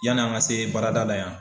Yanni an ka se baarada la yan.